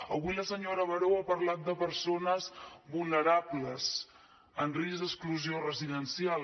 avui la senyora baró ha parlat de persones vulnerables en risc d’exclusió residencial